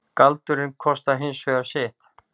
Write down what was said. Galdurinn kostaði hins vegar sitt.